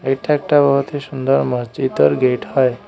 এটা একটা বহুতই সুন্দর মসজিতের গেট হয়।